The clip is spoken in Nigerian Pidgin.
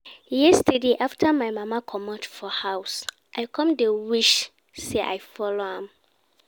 Yesterday after my mama comot for house, I come dey wish say I follow am